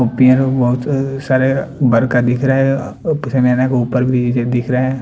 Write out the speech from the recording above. उ पेड़ बहुत सारे बरका दिख रहा है। के ऊपर भी दिख रहा है।